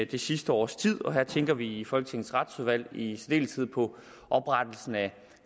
det sidste års tid her tænker vi i folketingets retsudvalg i særdeleshed på oprettelsen af